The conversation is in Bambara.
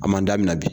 A man daminɛ bi